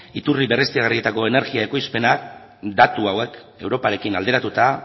iturri berriztagarrietako energia ekoizpena datu hauek europarekin alderatuta